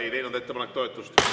Ettepanek ei leidnud toetust.